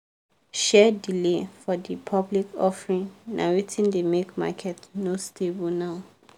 share delay for the public offering na wetin dey make market no stable now.